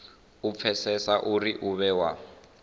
u pfesesa uri u vhewa